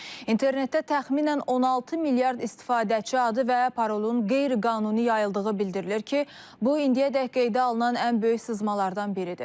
İnternetdə təxminən 16 milyard istifadəçi adı və parolun qeyri-qanuni yayıldığı bildirilir ki, bu indiyədək qeydə alınan ən böyük sızmalardan biridir.